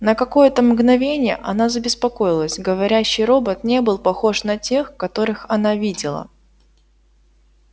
на какое-то мгновение она забеспокоилась говорящий робот не был похож на тех которых она видела